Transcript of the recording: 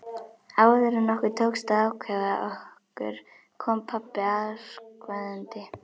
Áður en okkur tókst að ákveða okkur kom pabbi askvaðandi.